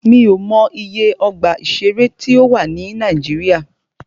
Mí ò mọ iye ọgbà ìṣẹ̀rẹ́ tí a ní ní Nàíjíríà.